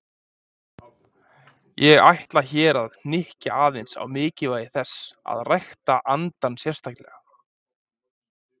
Ég ætla hér að hnykkja aðeins á mikilvægi þess að rækta andann sérstaklega.